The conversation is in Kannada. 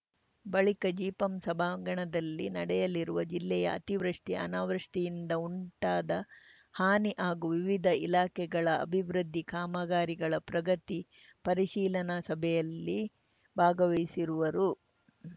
ಬಳಿಕ ಜಿಪಂ ಸಭಾಂಗಣದಲ್ಲಿ ನಡೆಯಲಿರುವ ಜಿಲ್ಲೆಯ ಅತಿವೃಷ್ಟಿ ಅನಾವೃಷ್ಟಿಯಿಂದ ಉಂಟಾದ ಹಾನಿ ಹಾಗೂ ವಿವಿಧ ಇಲಾಖೆಗಳ ಅಭಿವೃದ್ಧಿ ಕಾಮಗಾರಿಗಳ ಪ್ರಗತಿ ಪರಿಶೀಲನಾ ಸಭೆಯಲ್ಲಿ ಭಾಗವಹಿಸುವರು